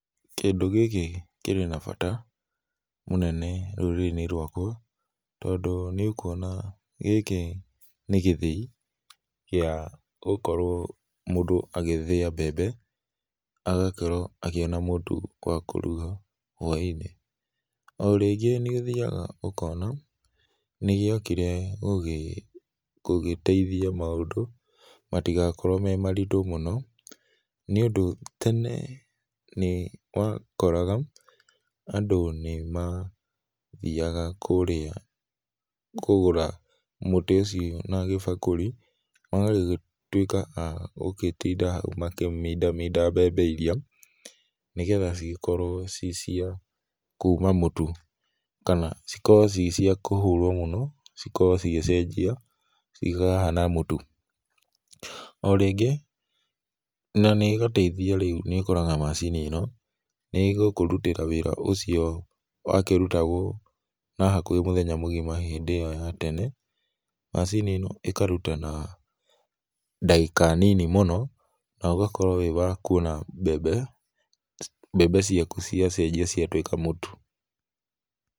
Kĩndũ gĩkĩ kĩrĩ na bata mũnene rũrĩrĩ inĩ rwakwa tondũ nĩ ũkũona gĩkĩ nĩ gĩthĩi gĩa gũkorwo mũndũ agĩthĩa mbembe na agakorwo akĩona mũtũ wa kũrũga hwai inĩ, o rĩngĩ nĩ ũthĩaga ũkona nĩ gĩakĩrehe gũgĩ gũgĩ teithĩa maũndũ matĩgakorwo me marĩtũ mũno nĩ ũndũ ene nĩ wakoraga andũ nĩmathĩaga kũrĩa kũgũra mũtĩ ũcio na gĩbakũrĩ magagĩtũĩka a gũtĩnda haũ makĩmĩnda mĩnda mbembe ĩrĩa, nĩgetha cigĩkorwo ci cia kũma mũtũ kana cikorwo ci cia kũhũrwo mũno cikorwo cigĩcenjĩa cikahana mũtũ. O rĩngĩ na nĩ ĩgateĩthĩa rĩũ nĩ ũkoraga macini ĩno nĩ ũgũkũrũtĩra wĩra ũrĩa ũcio wakĩrũtagwo na hakũhe mũthenya mũgĩma na hĩndĩ ĩyo ya tene macini ĩno ĩkarũta na dagĩka nini mũno na ũgakorwo wĩ wa kũona mbembe ciakũ ciacenjĩa ciatũĩka mũtũ.